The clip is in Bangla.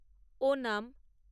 ওনাম